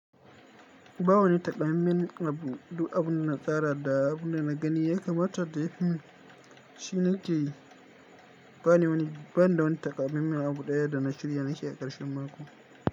Ba wani taƙamammen abu, duk abun da na tsara da abun da na gani ya kamata da ya fimin. Shi na ke yi, bani wani, ban da wani taƙamammen abu ɗaya da na shirya nake yi a ƙarshen mako.